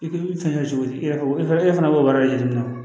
I k'i fɛn kɛ cogo di i yɛrɛ bolo e fana b'o wari ɲini